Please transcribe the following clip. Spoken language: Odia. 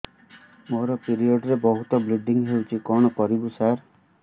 ମୋର ପିରିଅଡ଼ ରେ ବହୁତ ବ୍ଲିଡ଼ିଙ୍ଗ ହଉଚି କଣ କରିବୁ ସାର